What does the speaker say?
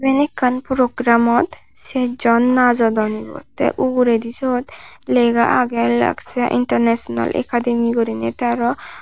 iben ekkan program or ser jon najodon te uguredi sot lega aage lakshya international academy guriney te aro.